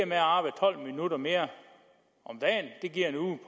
med at arbejde tolv minutter mere om dagen giver en uge